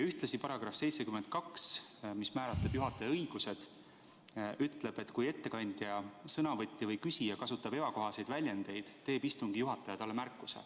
Ja § 72, mis määratleb juhataja õigused, ütleb, et kui ettekandja, sõnavõtja või küsija kasutab ebakohaseid väljendeid, teeb istungi juhataja talle märkuse.